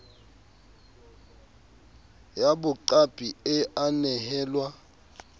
ya boqapi e a nehelwa